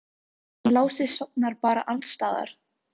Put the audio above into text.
Hann Lási sofnar bara alls staðar.